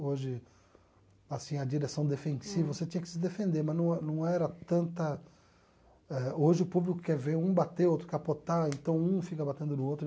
Hoje, assim a direção defensiva, você tinha que se defender, mas no não era tanta... Hoje o público quer ver um bater, outro capotar, então um fica batendo no outro.